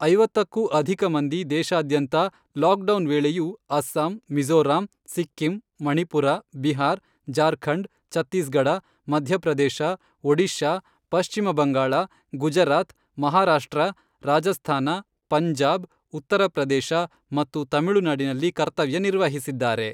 ಐವತ್ತಕ್ಕೂ ಅಧಿಕ ಮಂದಿ ದೇಶಾದ್ಯಂತ ಲಾಕ್ ಡೌನ್ ವೇಳೆಯೂ ಅಸ್ಸಾಂ, ಮಿಝೋರಾಂ, ಸಿಕ್ಕಿಂ, ಮಣಿಪುರ, ಬಿಹಾರ್, ಜಾರ್ಖಂಡ್, ಛತ್ತೀಸ್ ಗಢ, ಮಧ್ಯಪ್ರದೇಶ, ಒಡಿಶಾ, ಪಶ್ಚಿಮಬಂಗಾಳ, ಗುಜರಾತ್, ಮಹಾರಾಷ್ಟ್ರ, ರಾಜಸ್ಥಾನ, ಪಂಜಾಬ್, ಉತ್ತರ ಪ್ರದೇಶ ಮತ್ತು ತಮಿಳುನಾಡಿನಲ್ಲಿ ಕರ್ತವ್ಯ ನಿರ್ವಹಿಸಿದ್ದಾರೆ.